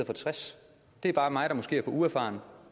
for 60 det er bare mig der måske er for uerfaren